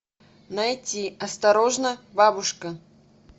найти осторожно бабушка